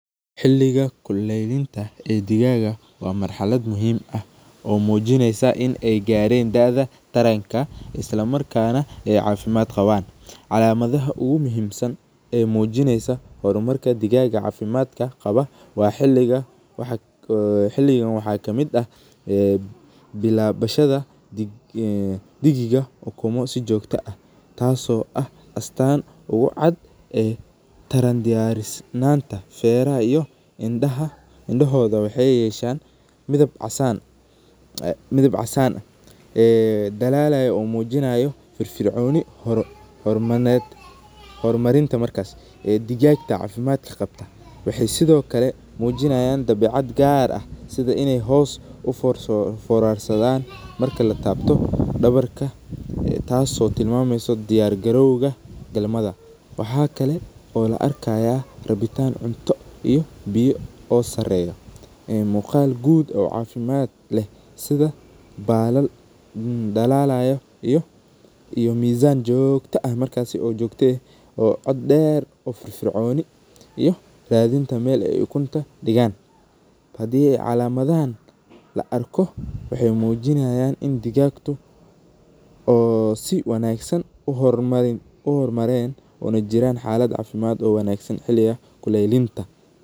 Hiliga kuleylinta ee digaga wa marhalad muxiim ah oo mujinaysa in ay gareen taranka islamarkana ay cafimad gawaan, calamadaha oguwanagsan wahay mujinaysa hormar digaga cafimadka gawaa wa hilugan waxa kamid ah bilabashada digiga ukuma si jogto ah, taas oo ah astaan ee taran diyarisnanta feraha iyo indohoda waxay yeshan midab casan ah, ee dalalyo oo mujinayo firfirconi hormarinta markas ee digagta cafimadka gabto, waxay Sidhokale gaar ah sidha in uforansadan marka latabto dawarka taas oo tilmameyso diyar galowa tarmada, waxa kalo oo laarkaya rabitaan cunto iyo biyo oo sareyo, wa mugaal guud oo cafimad leh sidha balal dalayo iyo misan jogto ah markasi oo jogti ah oo cod deer oo firforconi iyo radinta meel ay ukunta d8gan, hadhi an calamadahan laarko waxy mujinihayan in digagtu oo si wanagsan u hor mareen unajiraan halad cafimad oo na wanagsan kuleylinta.